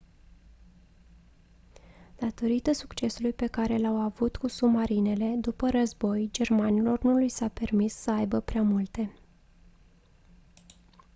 datorită succesului pe care l-au avut cu submarinele după război germanilor nu li s-a permis să aibă prea multe